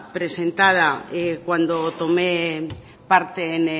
presentada cuando tomé parte